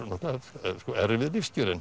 erfið lífskjörin